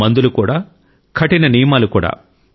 మందులు కూడా కఠిన నియమాలు కూడా